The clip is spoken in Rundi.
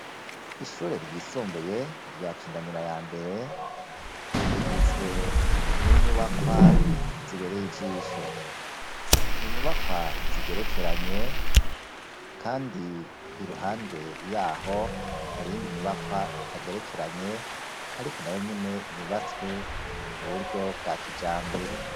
Ishure ryisumbuye rya kinanira ya mbere rigizwe n'inyubakwa zibereye ijisho, ninyubakwa zigerekeranye kandi iruhande yaho hari iyindi nyubakwa itagerekeranye ariko nayo nyene yubatswe mu buryo bwa kijambere.